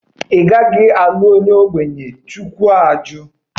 Ị gaghị alụ onye ogbenye! Chineke machibidoro